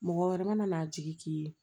Mɔgɔ wɛrɛ mana n'a jigi k'i ye